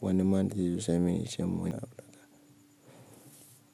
Wani man da yanzo ya same ni ya ce mun wai a'a.